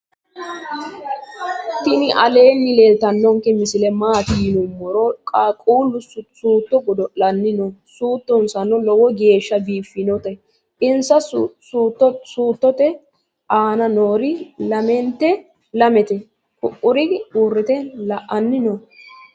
tinni aleni leltanonke misile matti yinumoro qaqulu suto godo'lanni noo. suutonsano loowo geesha bifanote. insa sutote anna noori lamete. ku"uri urite la"ani noo.